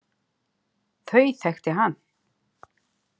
Þau þekkti hann.